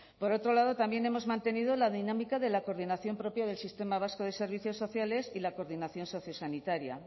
por otro lado también hemos mantenido la dinámica de la coordinación propia del sistema vasco de servicios sociales y la coordinación sociosanitaria